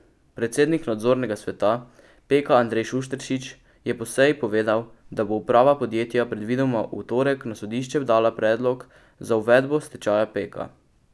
Predsednik nadzornega sveta Peka Andrej Šušteršič je po seji povedal, da bo uprava podjetja predvidoma v torek na sodišče dala predlog za uvedbo stečaja Peka.